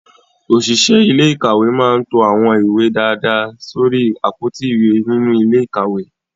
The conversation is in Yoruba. Òṣìṣẹ́ ilé ìkàwé máa ń to àwọn ìwé dáadáa sórí àpótí ìwé nínú ilé ìkàwé